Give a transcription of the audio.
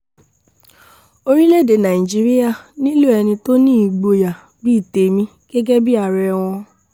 orílẹ̀‐èdè nàíjíríà nílò ẹni tó ní ìgboyà bíi tèmi gẹ́gẹ́ bíi ààrẹ wọn